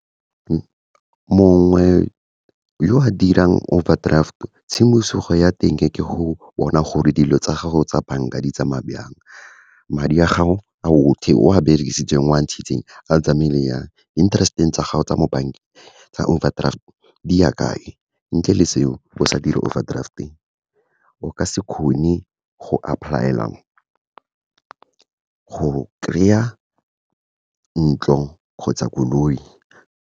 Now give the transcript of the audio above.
Mongwe yo a dirang overdraft-o tshimosego ya teng ke go bona gore dilo tsa gago tsa banka di tsamaya byang. Madi a gago, a otlhe o a berekisitseng, wa ntshitseng, a tsamaile jang, interest-eng tsa gago tsa mo bankeng tsa overdraft, di ya kae. Ntle le seo, go sa dire overdraft-e o ka se kgone go apply-ela go kry-a ntlo kgotsa koloi.